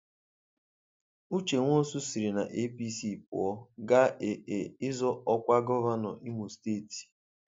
Uche Nwosu siri na APC pụọ gaa AA ịzọ ọkwa gọvanọ Imo steeti.